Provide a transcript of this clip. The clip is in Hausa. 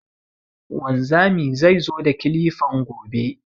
Wanzami zai zo da kilifan gobe